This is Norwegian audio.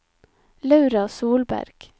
Laura Solberg